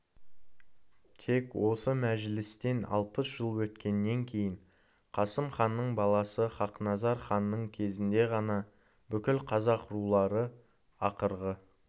тек осы мәжілістен алпыс жыл өткеннен кейін қасым ханның баласы хақназар ханның кезінде ғана бүкіл қазақ рулары ақырғы